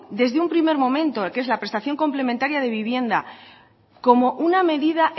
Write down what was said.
desde un primer momento el que es la prestación complementaria de vivienda como una medida